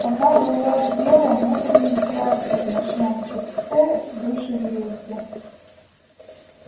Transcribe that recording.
она была в белом утреннем платье в ночном чепце в душегрейке